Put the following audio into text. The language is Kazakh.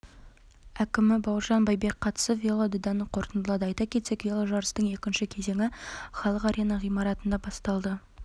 әкімі бауыржан байбек қатысып велодаданы қорытындылады айта кетсек веложарыстың екінші кезеңі халық арена ғимаратында басталды